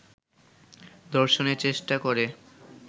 ধর্ষণের চেষ্টা করে